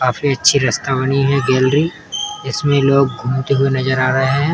काफी अच्छी गैलरी इसमें लोग घूमते हुए नज़र आ रहे हैं।